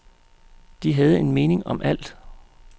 De havde en mening om alt.